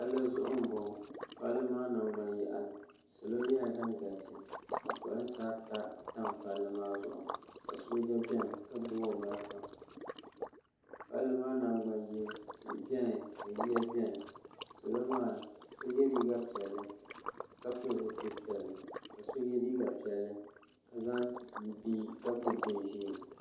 pali zuɣ' n boŋɔ pali maa nagbanyaɣili salo nyɛla din galisi ka polinsaata tam pali maa zuɣ' ka so gba bɛni n. ..tihi yiya bɛni salo maa yɛ liga piɛli ka pɛli zupɛli piɛli ka so yɛ liga piɛli ka gbabi bɛbɛɛ